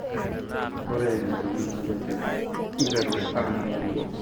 Ore ntonaa naabebek neiteru aa moruau.